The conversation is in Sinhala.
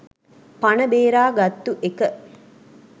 පන බේරා ගත්තු එක.